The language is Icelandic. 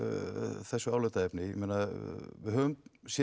þessu álitaefni við höfum séð